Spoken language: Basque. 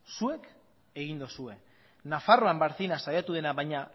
zuek egin dozue nafarroan barcina saiatu dena baina